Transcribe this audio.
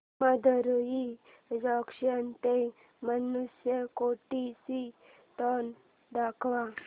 Madurai junction ते धनुषकोडी ची train दाखव